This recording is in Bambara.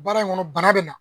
Baara in kɔnɔ bana bɛ na